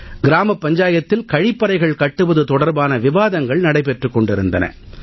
கிராமப் பஞ்சாயத்தில் கழிப்பறைகள் கட்டுவது தொடர்பான விவாதங்கள் நடைபெற்றுக் கொண்டிருந்தன